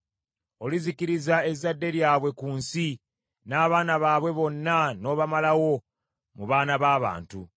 Olizikiriza ezzadde lyabwe ku nsi, n’abaana baabwe bonna n’obamalawo mu baana b’abantu.